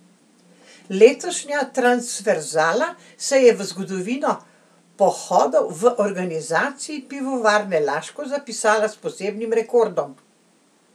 Letošnja transverzala se je v zgodovino pohodov v organizaciji Pivovarne Laško zapisala s posebnim rekordom.